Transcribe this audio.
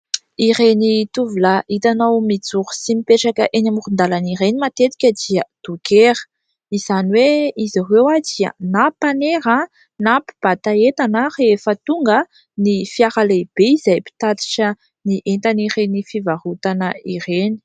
Ireny tovolahy hitanao mijoro sy mipetraka eny amoron-dalana ireny matetika dia dôkera ; izany hoe izy ireo dia na mpanera na mpibata entana rehefa tonga ny fiara lehibe izay mpitatitra ny entan'ireny fivarotana ireny.